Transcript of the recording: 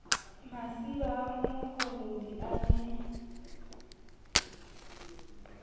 masiba a moholodi a ne